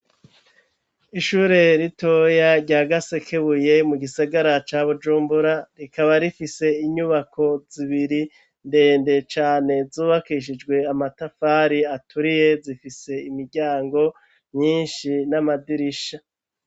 Ishure ritoya rya gasekebuye mu gisagara ca Bujumbura, rikaba rifise inyubako zibiri ndende cane, zubakishijwe amatafari aturiye zifise imiryango nyinshi n'amadirisha.